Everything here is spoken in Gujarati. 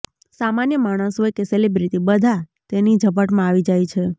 સામાન્ય માણસ હોય કે સેલીબ્રિટી બધા તેની ઝપટમા આવી જાય છે